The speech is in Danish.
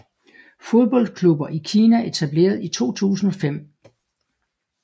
Fodboldklubber i Kina Etableret i 2005